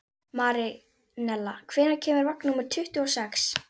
Marinella, hvenær kemur vagn númer tuttugu og sex?